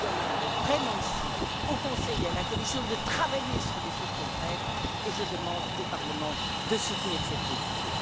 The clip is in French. Mais je demande vraiment ici, au Conseil et à la Commission, de travailler sur des mesures concrètes, et je demande au Parlement de soutenir cette position.